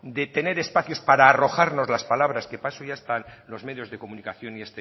de tener espacios para arrojarnos las palabras que para eso ya están los medios de comunicación